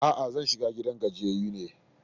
A'a, zan kai shiga gidan gajiyayyu ne.